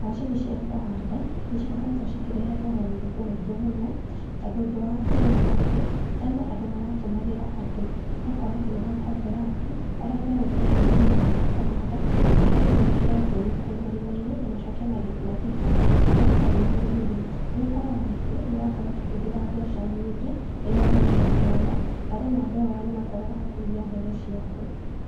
Macini cia kũhanda nĩcikoretwo ikĩreta mogarũrũku maingĩ mũno tondũ ũndũ wa mbere nĩa atĩ, tene andũ maratũmagĩra andũ, ũgakora atĩ nĩmakombora andũ arĩa megũka menje marima ma kũhanda macoke mekĩre mbeũ kũu marimaĩnĩ na macoke mathike, wee ta wĩ mũndũ rĩ nĩũkoraga atĩ nĩũrakora ũkĩhũthĩra mbeca nyingĩ rĩrĩa ũrarĩha andũ aya, na rĩmwe andũ aya nĩũkoraga nĩmarakũiya mbeũ ciak.